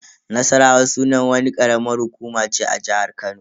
Nassarawa sunan wani karamar hukuma ce a jihar Kano.